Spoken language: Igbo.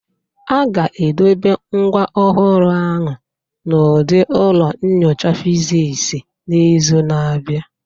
A ga-edobe ngwa ọhụrụ ahụ n'ụdị ụlọ nyocha Fiziks n'izu na-abịa